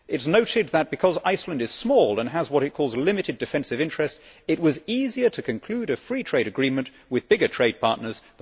It is noted that, because Iceland is small and has what it calls limited defensive interests, it was easier to conclude a free trade agreement with bigger trade partners.